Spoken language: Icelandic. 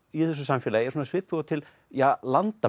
í þessu samfélagi er svona svipuð og til ja